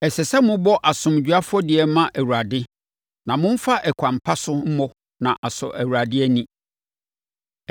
“ ‘Ɛsɛ sɛ mobɔ asomdwoeɛ afɔdeɛ ma Awurade a momfa ɛkwan pa so mmɔ na asɔ Awurade ani.